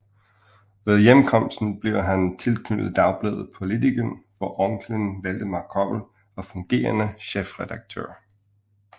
Ved hjemkomsten blev han tilknyttet dagbladet Politiken hvor onkelen Valdemar Koppel var fungerende chefredaktør